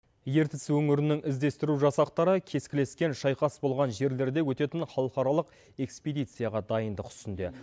ертіс өңірінің іздестіру жасақтары кескілескен шайқас болған жерлерде өтетін халықаралық экспедицияға дайындық үстінде